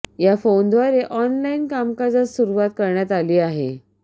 या फोनद्वारे ऑनलाइन कामकाजास सुरुवात करण्यात आली आहे